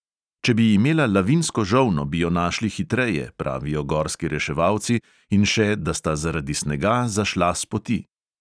Če bi imela lavinsko žolno, bi jo našli hitreje, pravijo gorski reševalci in še, da sta zaradi snega zašla s poti.